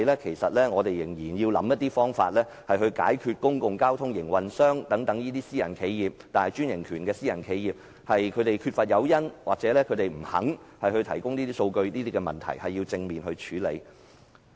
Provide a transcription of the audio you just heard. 其實，政府仍要解決公共交通營運商或擁有專營權的大型私人企業缺乏誘因或不肯提供數據的問題。